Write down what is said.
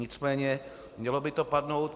Nicméně mělo by to padnout.